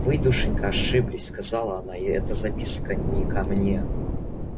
вы душенька ошиблись сказала она и эта записка не ко мне